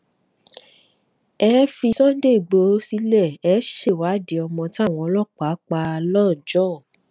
ẹ ẹ fi sunday igbodò sílé ẹ ṣèwádìí ọmọ táwọn ọlọpàá pa lọjọ